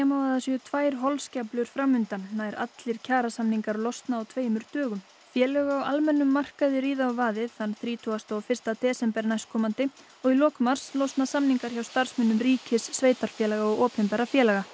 má að það séu tvær holskeflur fram undan nær allir kjarasamningar losna á tveimur dögum félög á almennum markaði ríða á vaðið þann þrítugasta og fyrsta desember næstkomandi og í lok mars losna samningar hjá starfsmönnum ríkis sveitarfélaga og opinberra félaga